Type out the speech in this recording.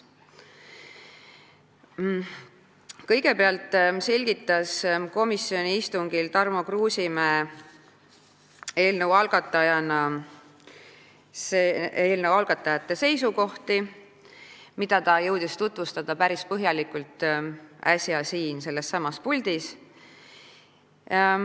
Kõigepealt selgitas komisjoni istungil Tarmo Kruusimäe eelnõu algatajate seisukohti, mida ta jõudis äsja tutvustada päris põhjalikult siinsamas puldis.